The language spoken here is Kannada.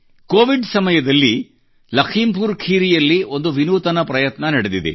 ಕೊವಿಡ್ ಸಮಯದಲ್ಲಿ ಲಖೀಂಪುರ್ ಖೀರಿಯಲ್ಲಿ ಒಂದು ವಿನೂತನ ಪ್ರಯತ್ನ ನಡೆದಿದೆ